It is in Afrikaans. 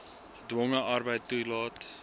gedwonge arbeid toelaat